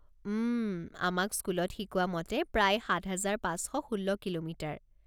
উম, আমাক স্কুলত শিকোৱা মতে প্ৰায় সাত হাজাৰ পাঁচ শ ষোল্ল কিলোমিটাৰ?